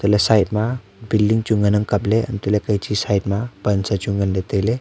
aley side ma building chu ngan ang kapley hantoley phechi side ma pan sa chu nganlay tailay.